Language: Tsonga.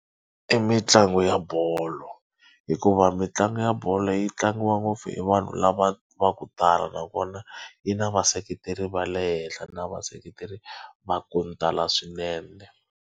I mitlangu ya bolo hikuva mitlangu ya bolo yi tlangiwa ngopfu hi vanhu lava va ku tala nakona yi na vaseketeri va le henhla na vaseketeri va ku tala swinene.